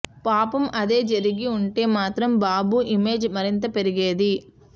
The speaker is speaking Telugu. పాపం అదే జరిగి ఉంటే మాత్రం బాబు ఇమేజ్ మరింత పెరిగేది